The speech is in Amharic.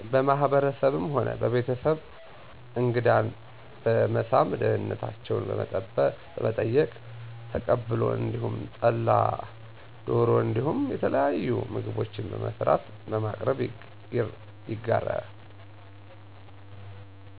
በማህበረሰቤ ሆነ በቤተሰቤ እንግዳን በመሳም ደህንነታቸው በመጠየቅ ተቀብሎ እንዲሁም ጠላ ዶሮ እንዲሁም የተለያዩ ምግቦችን በመስራት በማቅረብ ይጋራል።